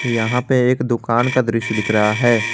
यहां पर एक दुकान का दृश्य दिख रहा है।